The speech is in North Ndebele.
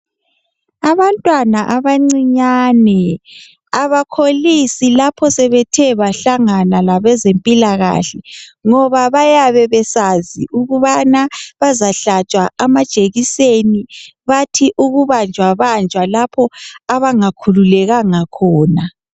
Abantwana abancinyane abakholisi lapho sebethe bahlangana labezempilakahle ngoba bayabe besazi ukubana bazahlatshwa amajekiseni bathi ukubanjwabanjwa lapho abangakhululekanga khona.